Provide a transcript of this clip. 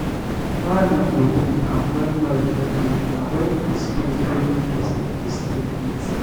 environment go dey calm when noise no dey and when di space wey person dey stay neat